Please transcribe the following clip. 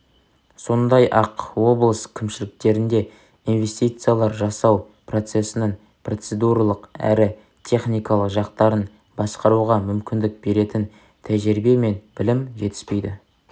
сондай-ақ облыс кімшіліктерінде инвестициялар жасау процесінің процедуралық әрі техникалық жақтарын басқаруға мүмкіндік беретін тәжірибе мен білім жетіспейді